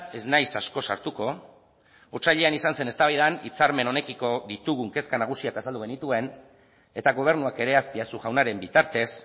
ez naiz asko sartuko otsailean izan zen eztabaidan hitzarmen honekiko ditugun kezka nagusiak azaldu genituen eta gobernuak ere azpiazu jaunaren bitartez